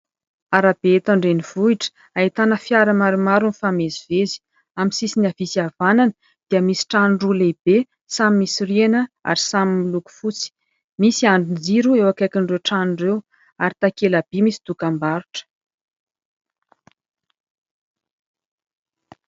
Arabe eto an-drenivohitra ahitana fiara maromaro mifamezivezy ; amin'ny sisiny havia sy havanana dia misy trano roa lehibe samy misy rihana ary samy miloko fotsy. Misy andrin-jiro eo akaikin'ireo trano ireo ary misy takela-by misy dokam-barotra.